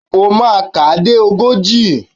O máa kà á dé ogójì.